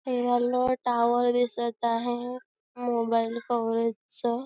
हे yellow tower दिसत आहे मोबाइल कवरेजच --